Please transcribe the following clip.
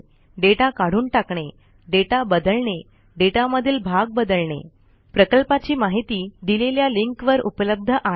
data काढून टाकणे data बदलणे डेटामधील भाग बदलणे प्रकल्पाची माहिती दिलेल्या लिंकवर उपलब्ध आहे